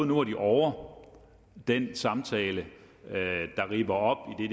nu var de ovre den samtale der ripper op i